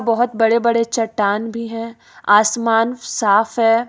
बहोत बड़े बड़े चट्टान भी है आसमान साफ है।